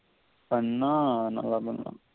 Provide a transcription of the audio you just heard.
பண்ணா நல்லா வரும்